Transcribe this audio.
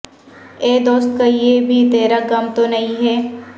اے دوست کہیں یہ بھی ترا غم تو نہیں ہے